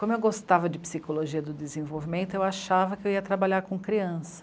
Como eu gostava de Psicologia do Desenvolvimento, eu achava que eu ia trabalhar com criança.